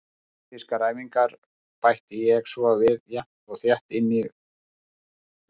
Taktískar æfingar bæti ég svo við jafnt og þétt inn í veturinn.